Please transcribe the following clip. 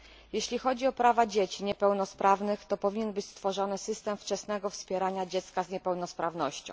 Jeśli chodzi o prawa niepełnosprawnych dzieci, to powinien być stworzony system wczesnego wspierania dziecka z niepełnosprawnością.